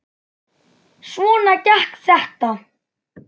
Svona gekk þetta.